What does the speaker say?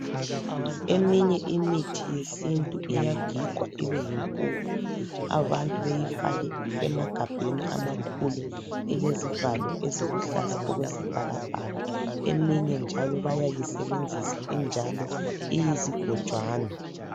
Eminye imithi yesintu iyagigwa ibe yimpuphu abantu beyifake emagabheni amakhulu elezivalo eziluhlaza okwesibhaka bhaka eminye njalo bayayisebenzisa injalo iyizigojwana.